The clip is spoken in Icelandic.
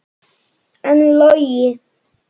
En Logi?